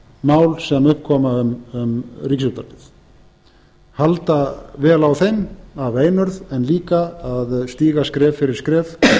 mál sem upp koma um ríkisútvarpið halda vel á þeim af einurð en líka að stíga skref fyrir skref